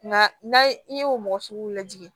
Nka n'a ye i ye o mɔgɔ sugu lajɛ